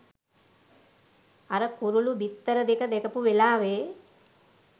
අර කුරුළු බිත්තර දෙක දැකපු වෙලාවෙ